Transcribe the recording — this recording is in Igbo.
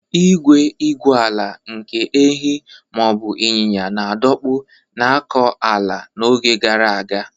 Igwe igwu ala nke ehi ma ọ bụ ịnyịnya na-adọkpụ na-akọ ala n’oge gara aga.